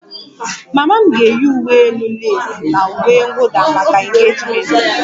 Mama m ga-eyi uwe elu leesi na uwe mwụda maka engejimenti m